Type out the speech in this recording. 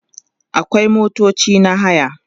akwai motoci na haya